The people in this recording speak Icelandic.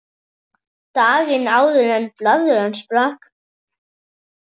Daginn áður en blaðran sprakk.